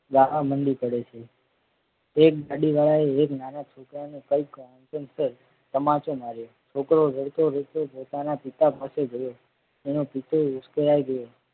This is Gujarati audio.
ગાવા મંડી પડે છે એક ગાડી વાળાએ એક નાના છોકરાને કઈક કારણસર તમાચો માર્યો છોકરો રડતો રડતો પોતાના પિતા પાસે ગયો એનો પીતોય ઉશ્કેલય ગયો.